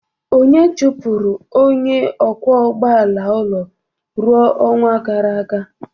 Onye chụpụrụ onye ọkwọ ụgbọala ụlọ ọrụ n'ọnwa gara aga.